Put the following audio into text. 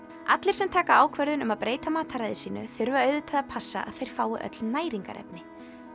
allir sem taka ákvörðun um að breyta mataræði sínu þurfa auðvitað að passa að þeir fái öll næringarefni